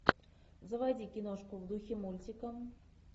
заводи киношку в духе мультика